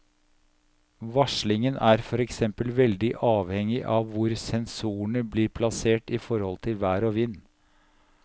Varslingen er for eksempel veldig avhengig av hvor sensorene blir plassert i forhold til vær og vind.